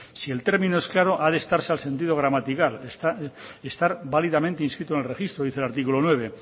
si el término es claro ha de estarse a sentido gramatical estar válidamente inscrito en el registro dice el artículo nueve